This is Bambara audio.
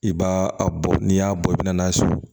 I b'a a bɔ n'i y'a bɔ i bɛna n'a ye so